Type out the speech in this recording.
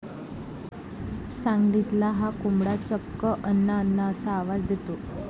सांगलीतला 'हा' कोंबडा चक्क अण्णा...अण्णा असा आवाज देतो!